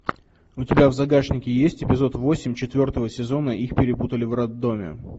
у тебя в загашнике есть эпизод восемь четвертого сезона их перепутали в роддоме